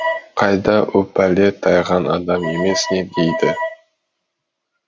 қайда о пәле тайған адам емес не дейді